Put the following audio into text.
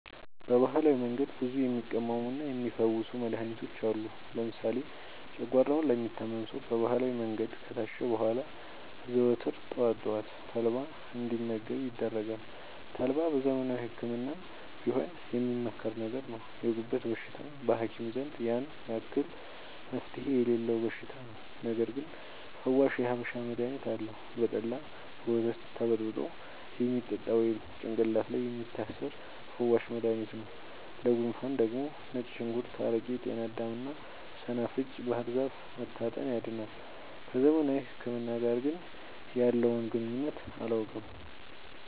በባህላዊ መንገድ ብዙ የሚቀመሙና የሚ ፈውሱ መድሀኒቶች አሉ። ለምሳሌ ጨጓሯውን ለሚታመም ሰው በባህላዊ መንገድ ከታሸ በኋላ ዘወትር ጠዋት ጠዋት ተልባ እንዲ መገብ ይደረጋል ተልባ በዘመናዊ ህክምናም ቢሆን የሚመከር ነገር ነው። የጉበት በሽታ በሀኪም ዘንድ ያን አክል መፍትሄ የሌለው በሽታ ነው። ነገርግን ፈዋሽ የሀበሻ መድሀኒት አለው። በጠላ፣ በወተት ተበጥብጦ የሚጠጣ ወይም ጭቅላት ላይ የሚታሰር ፈዋሽ መደሀኒት ነው። ለጉንፉን ደግሞ ነጭ ሽንኩርት አረቄ ጤናዳም እና ሰናፍጭ ባህርዛፍ መታጠን ያድናል።። ከዘመናዊ ህክምና ጋር ግን ያለውን ግንኙነት አላውቅም።